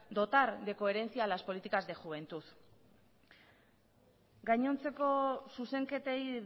dotar de coherencia a las políticas de juventud gainontzeko zuzenketei